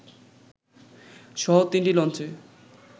সহ তিনটি লঞ্চে